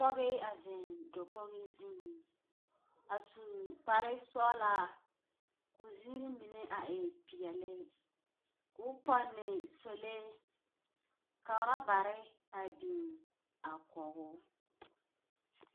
Pɔge a zeŋ dakogi zuiŋ. A su kparesɔɔlaa, ko zirii mine a e peɛle, koo pɔnne sɔlee, ka orabare a biŋ a kɔgoo.